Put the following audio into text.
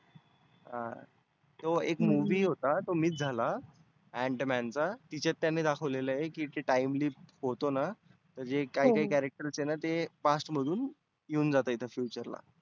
हं तो एक movie होता तो miss झाला. ant man चा तीच्यात त्यांनी दाखवलेलं. की ते time lift होतो ना. तर जे काही काही character आहेतना ते past मधुन येऊन जातात इथे feature ला.